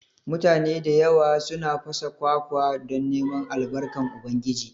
Mutane da yawa suna fasa kwakwa don neman Albarkan Ubangiji